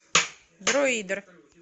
дроидер